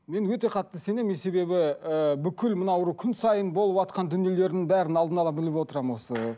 мен өте қатты сенемін мен себебі ііі бүкіл мынау күн сайын болыватқан дүниелердің бәрін алдын ала біліп отырамын осы